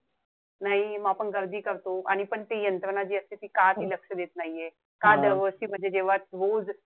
नाई म आपण गर्दी करतो. आणि पण ती यंत्रणा जी असते ती का ती लक्ष देत नाहीये. का दरवर्षी म्हणजे जेव्हा रोज,